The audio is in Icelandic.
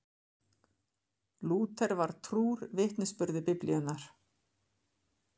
Lúther var trúr vitnisburði Biblíunnar.